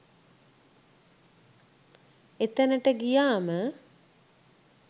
එතනට ගියාම